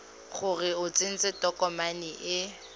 gore o tsentse tokomane e